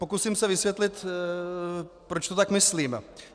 Pokusím se vysvětlit, proč to tak myslím.